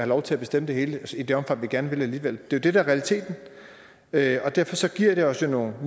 lov til at bestemme det hele i det omfang vi gerne vil alligevel det er jo det der er realiteten derfor giver det os jo nogle